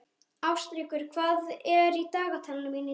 Ástríkur, hvað er í dagatalinu mínu í dag?